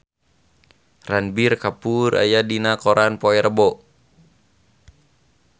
Ranbir Kapoor aya dina koran poe Rebo